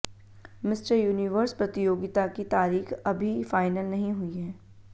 mister Universe प्रतियोगिता की तारीख अभी फाइनल नहीं हुई है